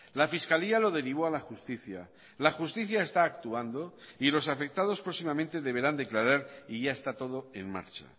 la fiscalía lo derivó a la justicia la justicia está actuando y los afectados próximamente deberán declarar y ya está todo en marcha